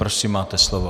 Prosím, máte slovo.